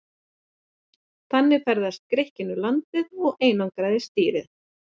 Þannig ferðaðist Grikkinn um landið og einangraði stýri.